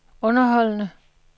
underholdende